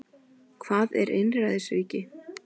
Hvað er einræðisríki?